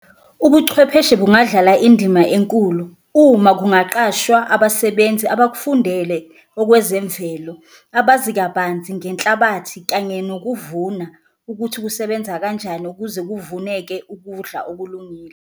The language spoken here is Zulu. Ubuchwepheshe bungadlala indima enkulu uma kungaqashwa abasebenzi abakufundele okwezemvelo, abazi kabanzi ngenhlabathi kanye nokuvuna ukuthi kusebenza kanjani, ukuze kuvuneke ukudla okulungile.